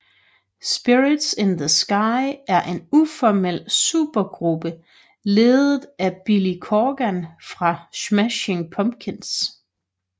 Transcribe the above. Spirits in the Sky er en uformel supergruppe ledet af Billy Corgan fra Smashing Pumpkins